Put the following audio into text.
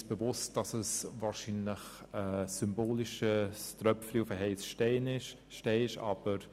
Wir sind uns bewusst, dass es ein symbolischer Tropfen auf den heissen Stein ist.